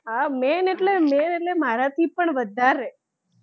હા main એટલે main મારાથી પણ વધારે,